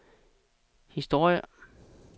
historie